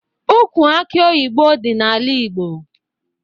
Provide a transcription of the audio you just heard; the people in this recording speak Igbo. Ukwu akị oyibo dị n'ala Igbo